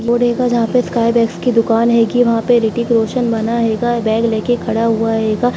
Board हेगा जहाँ पे स्काईबैग्स की दुकान हैगी वहाँ पे ऋतिक रोशन बना हेगा बैग लेके खड़ा हुआ हेगा।